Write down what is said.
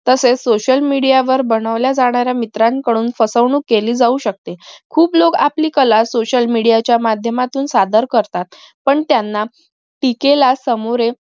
तसेच social media वर बनवल्या जाणाऱ्या मित्राकडून फसवणूक केली जाऊ शकते खूप लोक आपली कला social media च्या माध्यातून साधार करतात पण त्यांना टीकेला सामोरे